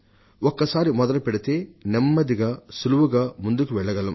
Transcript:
ఒక్కసారి మొదలుపెడితే నెమ్మది నెమ్మదిగా సులభంగా ముందుకు వెళ్లగలం